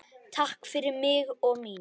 Takk fyrir mig og mína.